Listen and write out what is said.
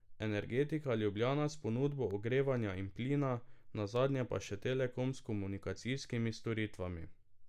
Energetika Ljubljana s ponudbo ogrevanja in plina, nazadnje pa še Telekom s komunikacijskimi storitvami.